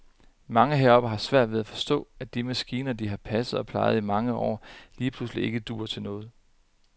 Mange heroppe har svært ved at forstå, at de maskiner, de har passet og plejet i mange år, lige pludselig ikke duer til noget.